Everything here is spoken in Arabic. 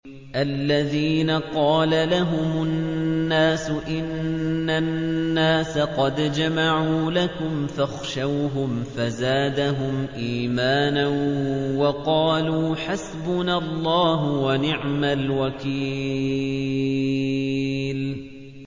الَّذِينَ قَالَ لَهُمُ النَّاسُ إِنَّ النَّاسَ قَدْ جَمَعُوا لَكُمْ فَاخْشَوْهُمْ فَزَادَهُمْ إِيمَانًا وَقَالُوا حَسْبُنَا اللَّهُ وَنِعْمَ الْوَكِيلُ